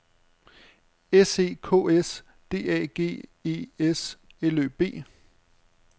S E K S D A G E S L Ø B